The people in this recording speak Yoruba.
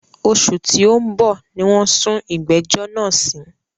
Òṣù tí o ń bọ̀ ní wọ́n sún ìgbẹ̀jọ́ náà sí.